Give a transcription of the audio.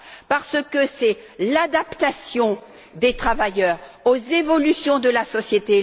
parce que c'est l'adaptation des travailleurs aux évolutions de la société.